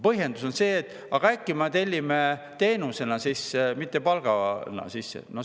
Põhjendus on see, et aga äkki tellime teenuseid sisse, mitte ei maksa palgana välja.